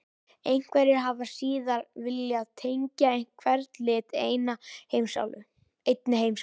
Einhverjir hafa síðar viljað tengja hvern lit einni heimsálfu: